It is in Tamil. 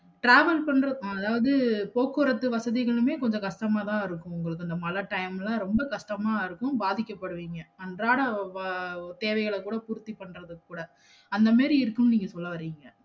Travel பண்றது அதாவது போக்குவரத்து வசதிகளுமே கொஞ்சம் கஷ்டமதா இருக்கும் உங்களுக்கு இந்த மழை time ல ரொம்ப கஷ்டம்தான் இருக்கும் பாதிக்கபடுவீங்க அன்றாட வ தேவைகளகூட பூர்த்தி பன்றதுக்கூட அந்த மாதிரி இருக்கும்னு நீங்க சொல்லவாரீங்க